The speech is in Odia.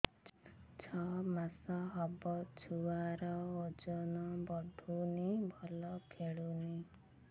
ଛଅ ମାସ ହବ ଛୁଆର ଓଜନ ବଢୁନି ଭଲ ଖେଳୁନି